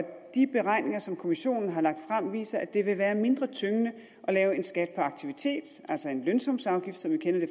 de beregninger som kommissionen har lagt frem viser at det vil være mindre tyngende at lave en skat på aktivitet altså en lønsumsafgift som vi kender det